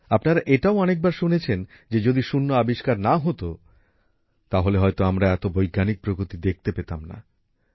আপনারা এটাও অনেকবার শুনেছেন যে যদি শূন্য আবিষ্কার না হতো তাহলে হয়তো আমরা এত বৈজ্ঞানিক প্রগতি দেখতে পেতাম না